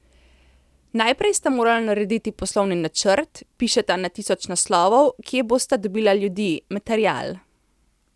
Najprej sta morala narediti poslovni načrt, pišeta na tisoč naslovov, kje bosta dobila ljudi, material?